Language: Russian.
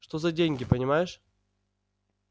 что за деньги понимаешь